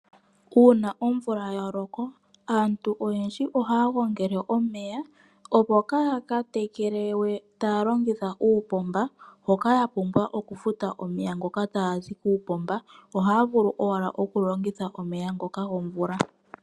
Uuna omvula ya loko aantu oyendji ohaya gongele omeya opo kaaya tekele we iimeno yawo ta ya longitha omeya ta ga zi kuupomba oshoka oha ga futilwa. Ohaya tekele taya longitha owala omeya gomvula.